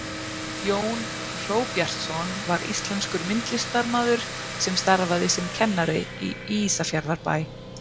jón hróbjartsson var íslenskur myndlistarmaður sem starfaði sem kennari í ísafjarðarbæ